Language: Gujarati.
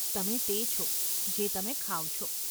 તમે તે છો, જે તમે ખાવ છો.